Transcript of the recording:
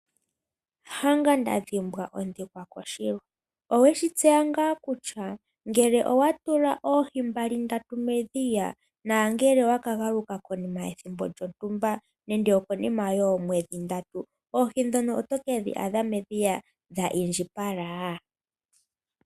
Hanga nda dhimbwa ohi koshilwa. Owe shitseya ngaa kutya ngele owa tula oohi mbali ndatu medhiya, nangele owa ka galuka konima yethimbo lyontumba, nande okonima yoo mwedhi ndatu, oohi ndhono oto ke dhi a dha medhiya dha i ndjipala?